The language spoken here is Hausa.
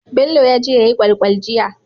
Bello yaje yayi kwal kwal jiya